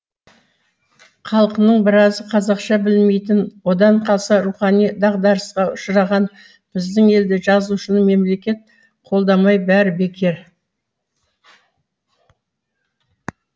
халқының біразы қазақша білмейтін одан қалса рухани дағдарысқа ұшыраған біздің елде жазушыны мемлекет қолдамай бәрі бекер